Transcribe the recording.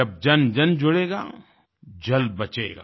जब जनजन जुड़ेगा जल बचेगा